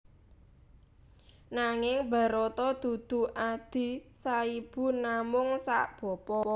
Nanging Barata dudu adhi saibu namung sabapa